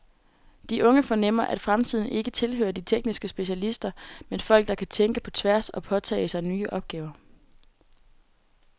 De unge fornemmer, at fremtiden ikke tilhører de tekniske specialister, men folk der kan tænke på tværs og påtage sig nye opgaver.